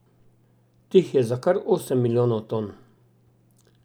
Teh je za kar osem milijonov ton.